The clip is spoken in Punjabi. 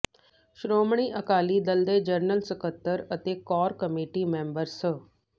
ਸ਼੍ਰੋਮਣੀ ਅਕਾਲੀ ਦਲ ਦੇ ਜਨਰਲ ਸਕੱਤਰ ਅਤੇ ਕੋਰ ਕਮੇਟੀ ਮੈਂਬਰ ਸ